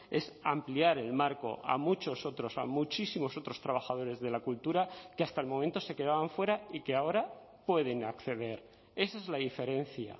es ampliar el marco a muchos otros a muchísimos otros trabajadores de la cultura que hasta el momento se quedaban fuera y que ahora pueden acceder esa es la diferencia